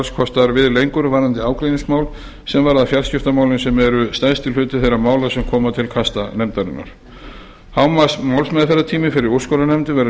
alls kostar við lengur varðandi ágreiningsmál sem varða fjarskiptamálin sem eru stærsti hluti þeirra mála sem koma til kasta nefndarinnar hámarksmálsmeðferðartími fyrir úrskurðarnefnd verður lengdur